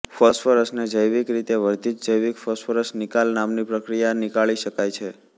ફોસ્ફરસને જૈવિક રીતે વર્ધિત જૈવિક ફોસ્ફરસ નિકાલ નામની પ્રક્રિયાથી નિકાળી શકાય છે